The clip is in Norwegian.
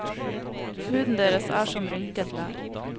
Huden deres er som rynket lær.